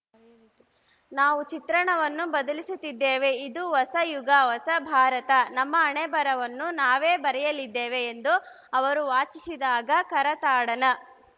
ನಾವು ಚಿತ್ರಣವನ್ನು ಬದಲಿಸುತ್ತಿದ್ದೇವೆ ಇದು ಹೊಸ ಯುಗ ಹೊಸ ಭಾರತ ನಮ್ಮ ಹಣೆಬರಹವನ್ನು ನಾವೇ ಬರೆಯಲಿದ್ದೇವೆ ಎಂದು ಅವರು ವಾಚಿಸಿದಾಗ ಕರತಾಡನ